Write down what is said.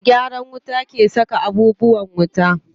Me gyaran wuta ke saka abubuwan wuta.